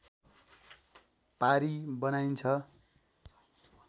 पारी बनाइन्छ